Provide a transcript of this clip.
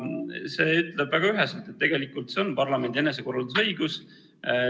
See ütleb väga üheselt, et tegu on parlamendi enesekorraldusõigusega.